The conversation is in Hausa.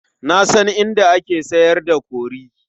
Na san inda ake sayar da kori.